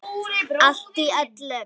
Allt í öllu.